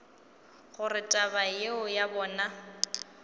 gore taba yeo ya bona